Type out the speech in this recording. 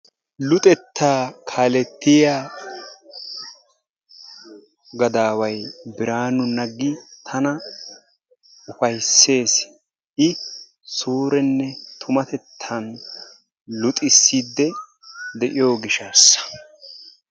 luxetta kaalletiya gadaaway Biraanu Naggi tana ufayssees. I suurenne tumatettan luxissidi de'iyo gishshaassa